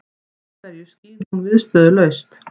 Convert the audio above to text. Af hverju skín hún viðstöðulaust?